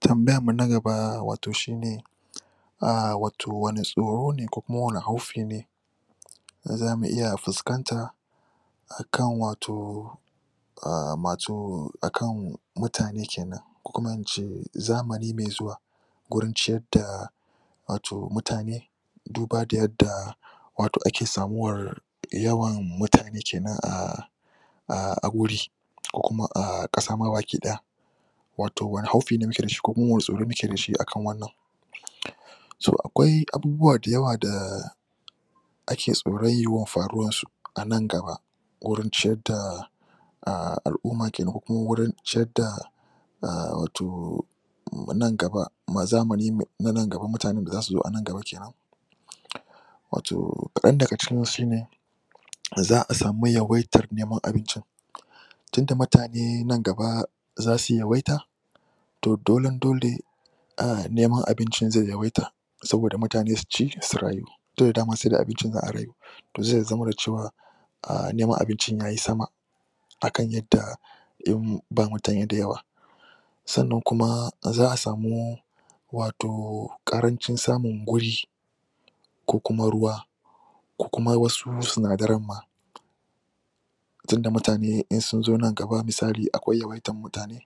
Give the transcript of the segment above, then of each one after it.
‎Tambayarmu na gaba a wato shine wanne tsorone ko kuma wanne haufi ne za mu iya fuskanta akan wato masu, akan mutane kenan ko kuma in ce zamani mai zuwa gurin ciyadda wato mutane duba da yadda wato ake samuwar yawan mutane kenan a a wuri, ko kuma a ƙasama baki ɗaya wato wanne haufi ne muke da shi ko kuma wanne tsoro muke da shi akan wannan To akwai da yawa da ake tsoron yiwuwar faruwarsu anan gaba gurin ciyadda alumma kenan ko kuma wurin ciyadda a wato, nan gaba, zamani mai na nan gaba, mutanen da za su zo anan gaba kenan Wato, kaɗan daga cikinsu shine za'a samu yawaitar neman abincin tunda mutane nan gaba za su yawaita, to dolen-dole a neman abincin zaiyawaita, saboda mutane su ci su rayu tunda dama sai da abincin za'a rayu. To zai zama da cewa um neman abincin yayi sama akan yadda yanzu ba mutane da yawa. Sannan kuma za'a samu wato ƙarancin samin guri ko kuma ruwa ko kuma wasu sinadaran ma tunda mutane in sun zo nan gaba, misali akwai yawaitan mutane,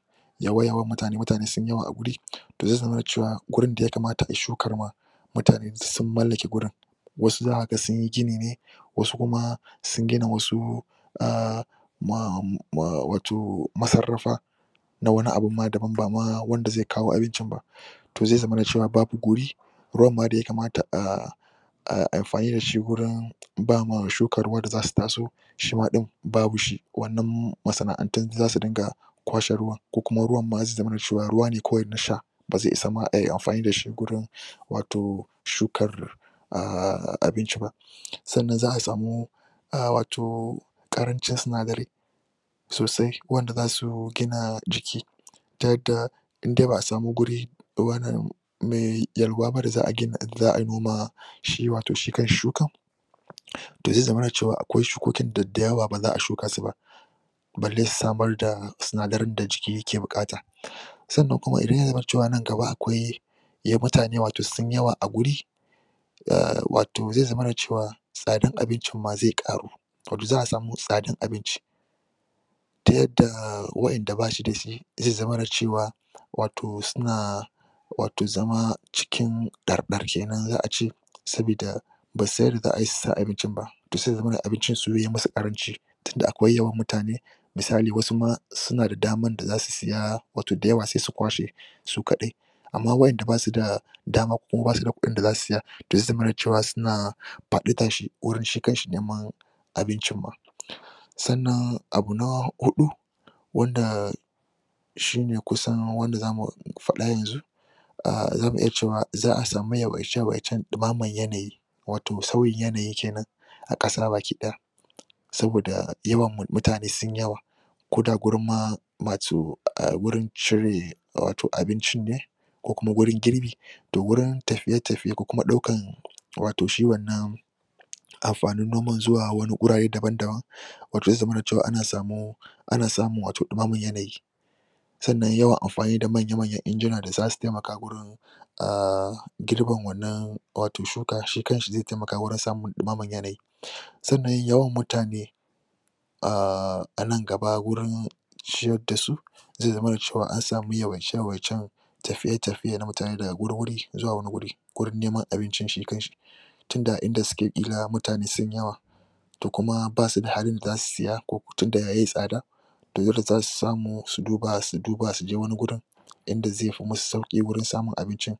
mutane sun yi yawa a guri to zai zamna cewa gurin da ya kamata ai shukar ma mutane duk sun mallake gurin. Wasu za ka ga sun yi gini ne wasu kuma sun gina wasu um wato masarrafa na wani abun m dabam ba ma wanda zai kawo abincin ba to zai zamana da cewa babu guri, ruwan ma da yakamata um amfani da shi gurin ba ma shukar ruwa da za su taso, shima ɗin babu shi, wannan masana'antun duk zasu dinga kwashe ruwan ko kuma ruwan ma zai zamana ruwa ne kawai na sha ba zai isa ma ayi amfani da shi gurin wato shukar um abinci ba. Sannan za'a samu um wato ƙarancin sinadarai sosai wanda a su gina jiki, ta yadda indai ba'a sami guri ruwa na me yalwa ba da za'a gina, za'a ai noma shi kanshi shukan to zai zamana da akwai shukokin da dayawa baza'a shuka su ba. Balle samar da sinadaran da jiki yake buƙata. Sannan kuma idan yazamana nan gaba akwai mutane wato sun yi yawa a guri, um wato zai zamana da cewa, tsadar abincin ma zai ƙaru, wato za'a samu tsadar abinci, ta yadda wadanda basu da shi zai zamana cewa wato suna wato zama cikin ɗarɗar kenan za ace saboda basu san yadda zaai su sai abincin ba. To sai y zamana abincin su yai musu ƙaranci tunda akwai yawan mutane, misali wasu suna da daman da a su saya, wato da yawa, sai su kwashe su kaɗai. Amma wadanda ba su da dama ko ba su da kuɗin da zasu saya to zai zamana cewa suna faɗi ta shi, wurin shi kanshi neman abincin ma. Sanna abu na Huɗu; wanda shine kusan wanda zamu faɗa yanzu, a zamu iya cewa za'a samu yawaice yawaicen ɗimaman yanayi wato sauyin yanayi kenan, a ƙasa baki ɗaya. Saboda yawan, mu mutane sun yi yawa ko da gurin ma masu, gurin cire wato abincin ne ko kuma wurin girbi, to wurin tafiye tafiye ko kuma ɗaukan wato shi wannan amfanin noman zuwa wani wurare daban-daban wato zai zamana da cewa ana samun ana samun wato ɗumamar yanayi. Sannan yawan amfani da manya-manyan ingina da za su taimaka gurin um girbin wannan wato shuka, shi kanshi zai taimaka wajen samun ɗumamar yanayi. Sannan yawan mutane, a nan gaba wurin ciyada dasu zai zama da cewa an samu yawaice-yawaicen tafiye-tafiyen mutane daga wani wuri zuwa wani wuri gurin neman abincin shi kanshi. Tunda inda suke ƙila mutane sun yi yawa to kuma ba su da halin da za su saya ko kuma tunda yayi tsada to dole za su samu su duba, su duba suje wani gurin in da ai fi musu sauƙi wurin samun abincin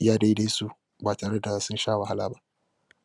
iya daidai su ba tare da sun sha wahala ba.